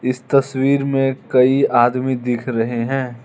इस तस्वीर में कई आदमी दिख रहे हैं।